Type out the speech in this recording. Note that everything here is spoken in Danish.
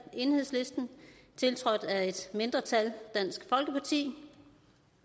tiltrådt af et mindretal